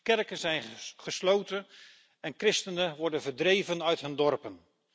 Kerken zijn gesloten en christenen worden verdreven uit hun dorpen.